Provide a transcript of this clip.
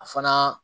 A fana